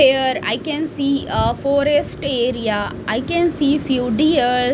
Here I can see a forest area I can see few deer .